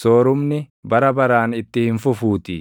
soorumni bara baraan itti hin fufuutii;